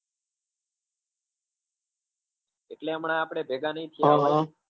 એટલે હમણાં આપડે ભેગા નહિ થયા હોઈએ